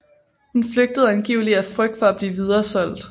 Hun flygtede angiveligt af frygt for at blive videresolgt